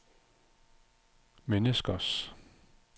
menneskers